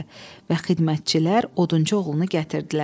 Və xidmətçilər odunçu oğlunu gətirdilər.